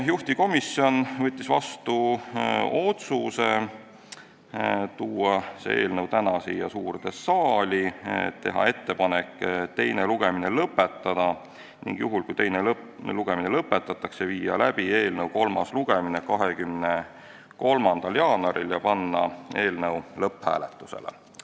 Juhtivkomisjon võttis vastu otsuse tuua see eelnõu täna siia suurde saali, teha ettepanek teine lugemine lõpetada ning juhul, kui teine lugemine lõpetatakse, viia läbi eelnõu kolmas lugemine 23. jaanuaril ja panna eelnõu lõpphääletusele.